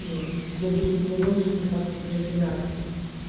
м за десять минут двадцать своих реакций